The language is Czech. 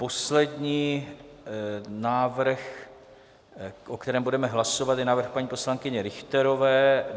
Poslední návrh, o kterém budeme hlasovat, je návrh paní poslankyně Richterové.